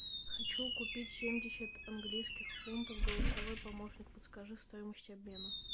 хочу купить семьдесят английских фунтов голосовой помощник подскажи стоимость обмена